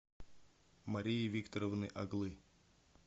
марии викторовны оглы